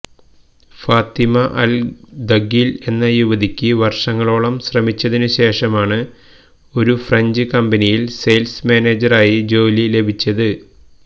Fathima Al Dakheel എന്ന യുവതിക്ക് വർഷങ്ങളോളം ശ്രമിച്ചതിനുശേഷമാണ് ഒരു ഫ്രഞ്ച് കമ്പനിയിൽ സെയിൽസ് മാനേജരായി ജോലി ലഭിച്ചത്